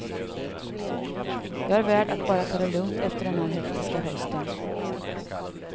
Jag är värd att bara ta det lugnt efter den här hektiska hösten.